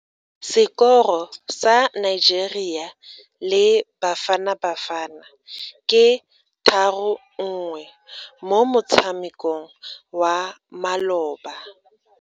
Sekoro sa Nigeria le Bafanabafana ke 3-1 mo motshamekong wa maloba.